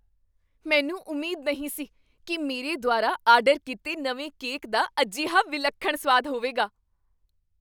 ਮੈਨੂੰ ਉਮੀਦ ਨਹੀਂ ਸੀ ਕੀ ਮੇਰੇ ਦੁਆਰਾ ਆਰਡਰ ਕੀਤੇ ਨਵੇਂ ਕੇਕ ਦਾ ਅਜਿਹਾ ਵਿਲੱਖਣ ਸੁਆਦ ਹੋਵੇਗਾ!